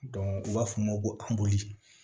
u b'a fɔ o ma ko